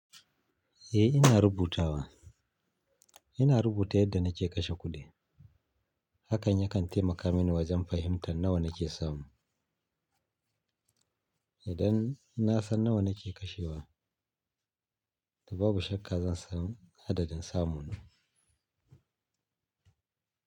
Eh ina rubutawa. Ina rubuta yadda na ke kashe kudi. Hakan ya kan taimaka mini wajen fahimtar nawa na ke samu. Idan na san nawa na ke kashewa, to babu shakka zan san adadin samuna.